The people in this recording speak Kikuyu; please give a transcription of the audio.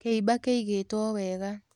Kĩiba kĩigĩtwo wega.